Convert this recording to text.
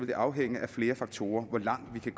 det afhænge af flere faktorer hvor langt vi